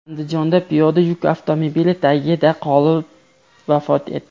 Andijonda piyoda yuk avtomobili tagida qolib vafot etdi.